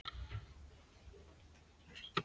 Og þú ert aldrei einmana hérna?